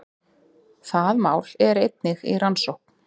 Það mál er einnig í rannsókn